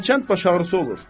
Hərçənd başağrısı olur.